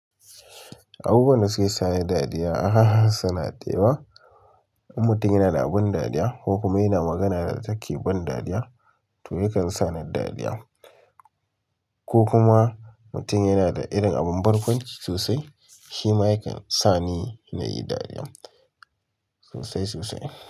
Abubuwan da suke sa ni dariya, ah haha! Suna da yawa. In mutum yana da abin dariya ko kuma yana magana da take da ban dariya to yakan sa ni dariya, ko kuma mutum yana da irin abun barkwanci sosai, shi ma yakan sa ni nayi dariya sosai sosai.